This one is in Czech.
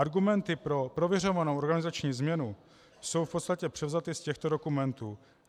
Argumenty pro prověřovanou organizační změnu jsou v podstatě převzaty z těchto dokumentů.